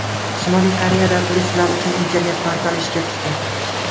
Shimoliy Koreyada turistlar uchun internet portali ishga tushdi.